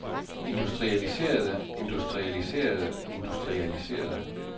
industrialiserede industrialiserede industrialiserede